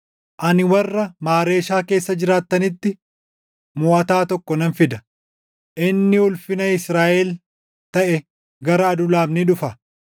Ani warra Maareeshaa keessa jiraattanitti moʼataa tokko nan fida. Inni ulfina Israaʼel taʼe gara Adulaam ni dhufa.